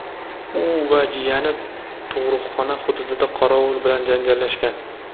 u va jiyani tug‘ruqxona hududida qorovul bilan janjallashgan.